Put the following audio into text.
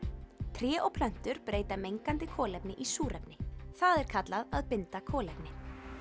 tré og plöntur breyta mengandi kolefni í súrefni það er kallað að binda kolefni